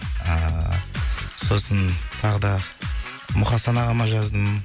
ыыы сосын тағы да мұқасан ағама жаздым